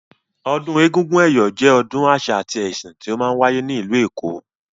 Ọdún egúngún ẹ̀yọ̀ jẹ́ ọdún àṣà àti ẹsìn tí ó máa ń wáyé ní ìlú èkó.